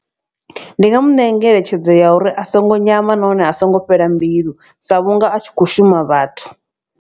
Ndi nga mu ṋea ngeletshedzo ya uri a songo nyama nahone a songo fhela mbilu sa vhunga a tshi kho shuma vhathu.